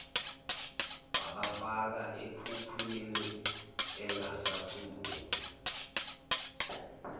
wabafaka ekhukhwini engasakhumbuli